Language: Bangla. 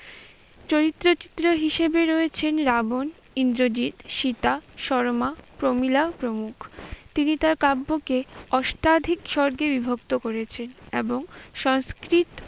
চরিত্র চিত্র হিসেবে রয়েছেন রাবণ, ইন্দ্রজিৎ, সীতা, সরমা, প্রমীলা প্রমুখ। তিনি তার কাব্যকে অষ্টাধিক সর্গে বিভক্ত করেছেন এবং সংস্কৃত